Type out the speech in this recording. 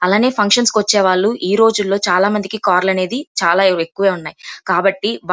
అలానే ఫంక్షన్ కు వచ్చేవాళ్ళు ఈరోజుల్లో చాలామందికి కార్ లనేవి చాల ఎక్కువే ఉన్నాయ్. కాబట్టి --